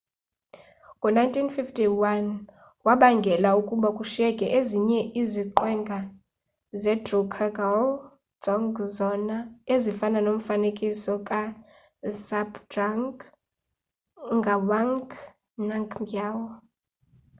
ngo-1951 wabangela ukuba kushiyeke ezinye iziqwenga zedrukgyal dzong zona ezifana nomfanekiso kazhabdrung ngawang namgyal